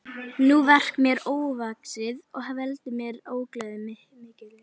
Það verk er mér ofvaxið og veldur mér ógleði mikilli.